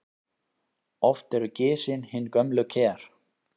Oft eru gisin hin gömlu ker.